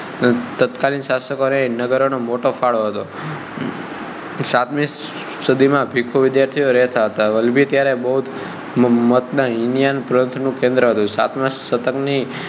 તત્કાલીન શાસકો અને નાગરિકો નો મોટો ફાળો હતો સાતમી સદી માં ભિખ્ખુ વિદ્યાર્થીઓ રહેતા હતા વલભી ત્યારે બૌદ્ધ મત નાં હીનયાન પંથનું કેન્દ્ર હતું સાતમા સતર્ક ની